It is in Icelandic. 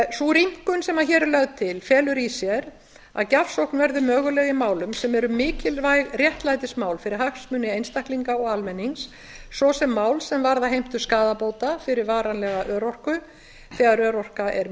sú rýmkun sem hér er lögð til felur í sér að gjafsókn verður möguleg í málum sem eru mikilvæg réttlætismál fyrir hagsmuni einstaklinga og almennings svo sem mál sem varða heimtu skaðabóta fyrir varanlega örorku þegar örorka er